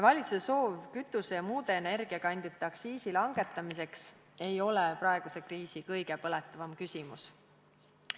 Valitsuse soov langetada kütuse ja muude energiakandjate aktsiisi ei ole praeguse kriisi kõige põletavam küsimus.